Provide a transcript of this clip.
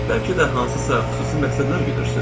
Və bəlkə də hansısa xüsusi məqsədlər güdürsüz.